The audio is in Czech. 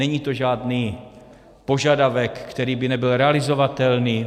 Není to žádný požadavek, který by nebyl realizovatelný.